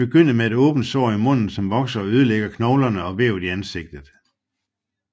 Det begynder med et åbent sår i munden som vokser og ødelægger knoglerne og vævet i ansigtet